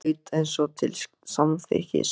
Amma hraut eins og til samþykkis.